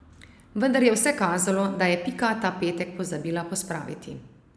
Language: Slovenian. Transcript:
Vendar je vse kazalo, da je Pika ta petek pozabila pospraviti.